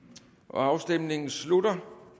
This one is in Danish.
afstemningen slutter